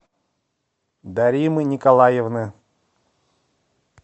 даримы николаевны